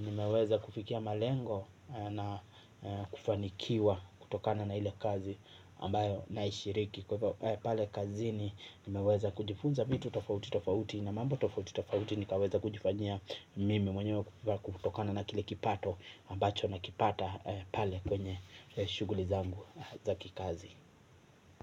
nimeweza kufikia malengo na kufanikiwa na ile kazi ambayo naishiriki kwa hivyo pale kazini nimeweza kujifunza vitu tofauti tofauti na mambo tofauti tofauti nimeweza kujifanyia mwenyewe kutokana na kile kipato ambacho nakipata pale kwenye shughuli zangu za kikazi.